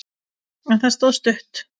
En það stóð stutt.